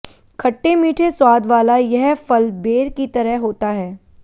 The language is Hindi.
खट्टे मीठे स्वाद वाला यह फल बेर की तरह होता है